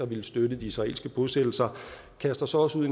villet støtte de israelske bosættelser kaster sig også ud